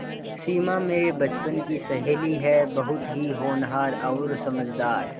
सिमा मेरे बचपन की सहेली है बहुत ही होनहार और समझदार